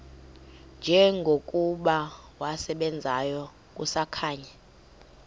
njengokuba wasebenzayo kusakhanya